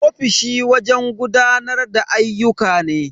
Ofishi wajen gudanar da ayyuka ne.